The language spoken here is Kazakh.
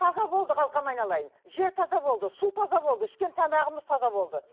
таза болды қалқам айналайын жер таза болды су таза болды ішкен тамағымыз таза болды